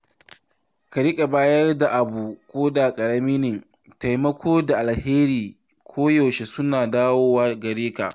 Ka riƙa bayar da abu koda ƙarami ne; taimako da alheri koyaushe suna dawowa gare ka.